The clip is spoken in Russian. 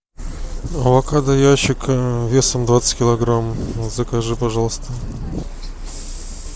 авокадо ящик весом двадцать килограмм закажи пожалуйста